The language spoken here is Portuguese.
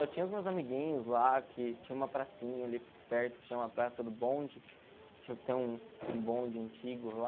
Eu tinha os meus amiguinhos lá, que tinha uma pracinha ali perto, que chama praça do bonde, tinha que ter um um bonde antigo lá.